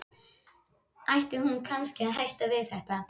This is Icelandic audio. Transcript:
Ætti hún kannski að hætta við þetta?